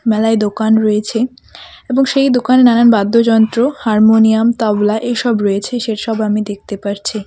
মেলায় দোকান রয়েছে এবং সেই দোকানে নানান বাদ্যযন্ত্র হারমোনিয়াম তবলা এইসব রয়েছে সেইসব আমি দেখতে পারছি .